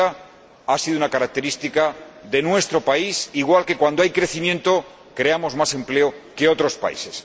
90. Ha sido una característica de nuestro país, igual que, cuando hay crecimiento, creamos más empleo que otros países.